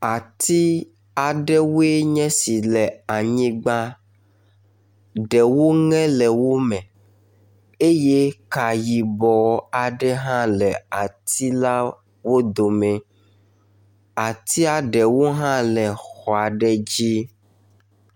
Ati aɖewoe nye si le anyigba, ɖewo ŋe le wo me eye ka yibɔ aɖe hã le ati lawo dome. Atia ɖewo hã le xɔ aɖe dzi.